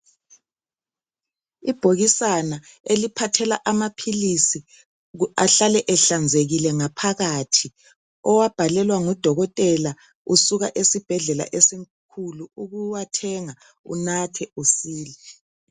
Ibhokisana iliphathela amaphilisi ahlele ehlanzekile ngaphakathi owabhalelwa ngudokotela usuka esibhedlela esikhulu ukuwathenga unathe usile.